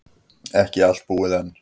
Ekki allt búið enn.